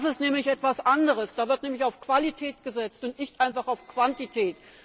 Das ist nämlich etwas anderes, da wird nämlich auf Qualität gesetzt und nicht einfach auf Quantität.